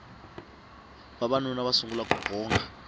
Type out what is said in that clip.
vavanuna va sungula ku bonga